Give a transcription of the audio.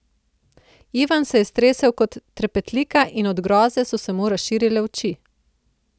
Ivan se je stresel kot trepetlika in od groze so se mu razširile oči.